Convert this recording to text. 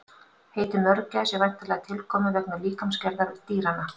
Heitið mörgæs er væntanlega tilkomið vegna líkamsgerðar dýranna.